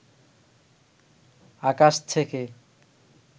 আকাশ ছেকে